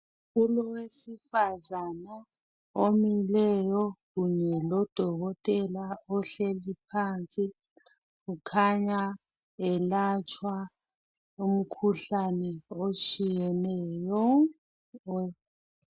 Kulowesifazana omileyo kunye lodokotela ohleli phansi kukhanya elatshwa umkhuhlane otshiyeneyo.